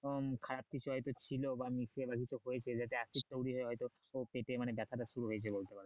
এবং খারাপ কিছু হয় তো ছিল বা মানে পেটে মানে ব্যাথাটা শুরু হয়ে গেছে।